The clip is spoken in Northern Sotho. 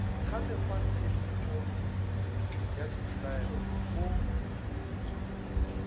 ga mekgwatshepetšo ya dipelaelo o